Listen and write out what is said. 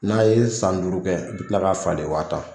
N'a ye san duuru kɛ i bi tila k'a falen wa tan